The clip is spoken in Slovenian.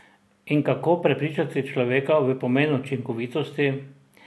In kako prepričati človeka v pomen učinkovitosti?